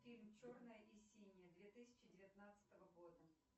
фильм черное и синее две тысячи девятнадцатого года